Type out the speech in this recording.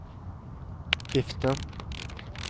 vifte